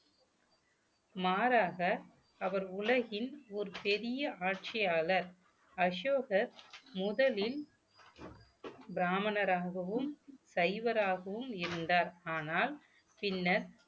மாறாக அவர் உலகின் ஒரு பெரிய ஆட்சியாளர் அசோகர் முதலில் பிராமணராகவும் சைவராகவும் இருந்தார் ஆனால் பின்னர்